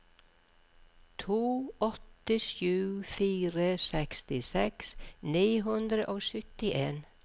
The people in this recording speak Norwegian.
to åtte sju fire sekstiseks ni hundre og syttien